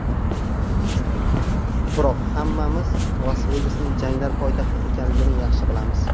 Biroq hammamiz Las-Vegasning janglar poytaxti ekanligini yaxshi bilamiz.